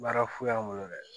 Baara fu y'an bolo dɛ